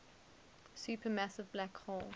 supermassive black hole